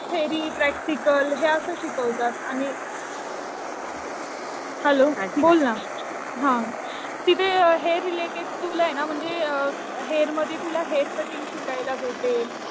Theory practical हे असं शिकवतात. आणि हॅलो बोल ना. हा. तिथे हेअर रिलेटेड टूल आहे ना. म्हणजे हेअर मध्ये तुला हेअर कटिंग शिकायला भेटेल.